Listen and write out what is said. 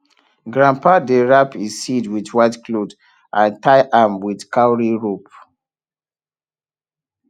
grandpa dey wrap e seed with white cloth and tie am with cowry rope